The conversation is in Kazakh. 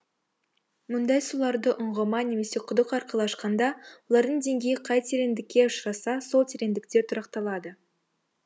мұндай суларды ұңғыма немесе құдық арқылы ашқанда олардың деңгейі қай тереңдікте ұшырасса сол тереңдікте тұрақталады